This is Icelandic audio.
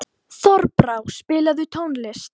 Þorbrá, spilaðu tónlist.